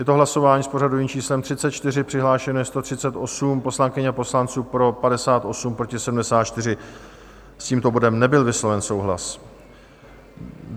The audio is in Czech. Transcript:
Je to hlasování s pořadovým číslem 34, přihlášeno je 138 poslankyň a poslanců, pro 58, proti 74, s tímto bodem nebyl vysloven souhlas.